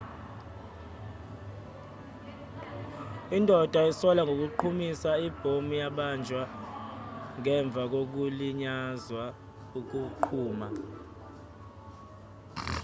indoda esolwa ngokuqhumisa ibhomu yabanjwa ngemva kokulinyazwa ukuqhuma